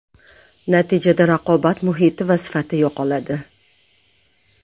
Natijada raqobat muhiti va sifat yo‘qoladi.